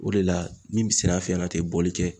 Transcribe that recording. O de la ni tɛ bɔli kɛ